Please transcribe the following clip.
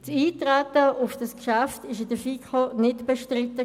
Das Eintreten auf das Geschäft war in der FiKo nicht bestritten.